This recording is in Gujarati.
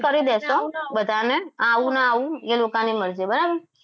નાના કરી દઈશું બાકી બધાને આવું ના આવું એ લોકોની મરજી બરાબર